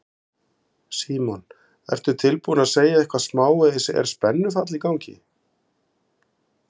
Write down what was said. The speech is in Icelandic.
Símon: Ertu tilbúin að segja eitthvað smávegis, er spennufall í gangi?